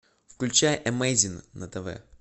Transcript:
включай эмейзин на тв